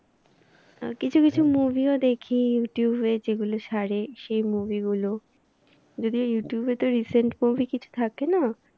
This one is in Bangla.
কিছু কিছু movie ও দেখি youtube এ যেগুলো ছাড়ে সেই movie গুলো। যদিও ইউটিউব এ তো recent movie কিছু থাকে না।